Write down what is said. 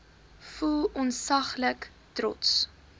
voel ontsaglik trots